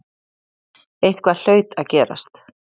Eitthvað hlaut að gerast.